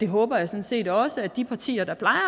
håber sådan set også at de partier der plejer